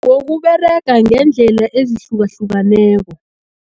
Ngokuberega ngeendlela ezihlukahlukeneko.